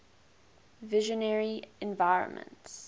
visionary environments